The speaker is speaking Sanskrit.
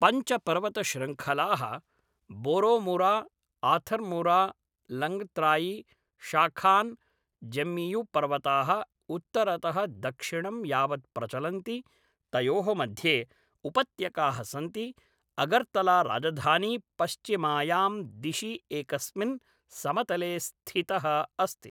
पञ्च पर्वतशृङ्खलाः बोरोमूरा आथर्मूरा लङ्गत्रायि शाखान् जम्मियु पर्वताः उत्तरतः दक्षिणं यावत् प्रचलन्ति तयोः मध्ये उपत्यकाः सन्ति अगर्तला राजधानी पश्चिमायां दिशि एकस्मिन् समतले स्थिताः अस्ति